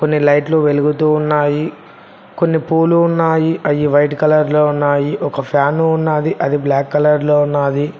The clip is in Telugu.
కొన్ని లైట్లు వెలుగుతూ ఉన్నాయి కొన్ని పూలు ఉన్నాయి అవి వైట్ కలర్ లో ఉన్నాయి ఒక ఫ్యాన్ ఉన్నది అది బ్లాక్ కలర్ లో ఉన్నది.